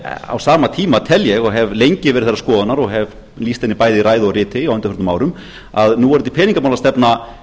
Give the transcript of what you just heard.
á sama tíma tel ég og hef lengi verið þeirrar skoðunar og hef lýst henni bæði í ræðu og riti á undanförnum árum að núverandi peningamálastefna